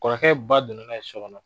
Kɔrɔkɛ ba donna n'a ye so kɔnɔ.